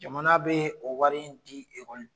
Jamana bɛ o wari in di